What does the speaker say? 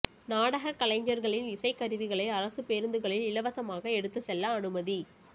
நாடகக் கலைஞா்களின் இசைக் கருவிகளை அரசுப் பேருந்துகளில் இலவசமாக எடுத்துச் செல்ல அனுமதி